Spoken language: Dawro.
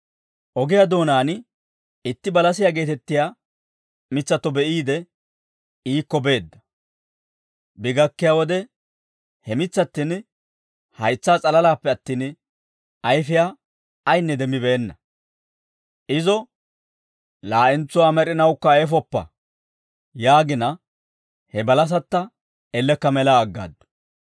Ogiyaa doonaan itti balasiyaa geetettiyaa mitsatto be'iide, iikko beedda; bi gakkiyaa wode he mitsattin haytsaa s'alalaappe attin, ayfiyaa ayinne demmibeenna; izo, «Laa'entsuwaa med'inawukka ayfoppa» yaagina, he balasatta elekka mela aggaaddu.